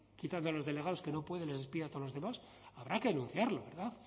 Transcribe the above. quitando los delegados que no puede les despide a todos los demás habrá que denunciarlo verdad